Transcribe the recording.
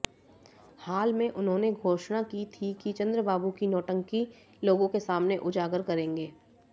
हाल में उन्होंने घोषणा की थी कि चंद्रबाबू की नौटंकी लोगों के सामने उजागर करेंगे